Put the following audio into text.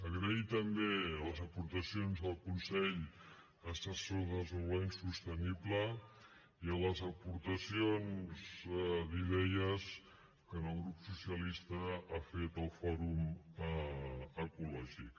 agrair també les aportacions del consell assessor per al desenvolupament sostenible i les aportacions d’idees que en el grup socia lista ha fet al fòrum ecològic